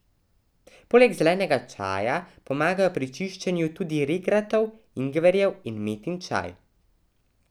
Poleg zelenega čaja pomagajo pri čiščenju tudi regratov, ingverjev in metin čaj.